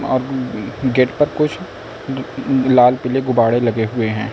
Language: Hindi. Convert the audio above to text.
गेट पर कुछ लाल पीले गुब्बाडे लगे हुए हैं।